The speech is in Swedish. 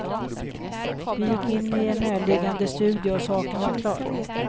Vi gick in i en närliggande studio och saken var klar.